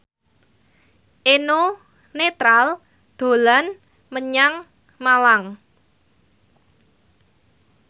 Eno Netral dolan menyang Malang